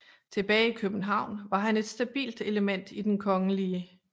Tilbage i København var han et stabilt element i Den Kgl